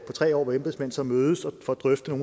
tre år at embedsmænd så mødes og får drøftet